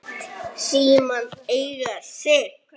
Læt símann eiga sig.